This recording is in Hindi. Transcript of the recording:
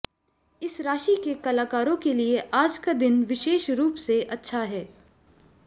इस राशि के कलाकारों के लिए आज का दिन विशेष रूप से अच्छा है